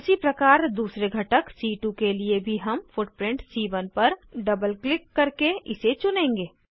उसीप्रकार दूसरे घटक सी2 के लिए भी हम फुटप्रिंट सी1 पर डबल क्लिक करके इसे चुनेंगे